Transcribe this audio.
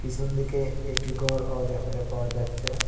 পিছন দিকে একটি গরও দেখতে পাওয়া যাচ্চে ।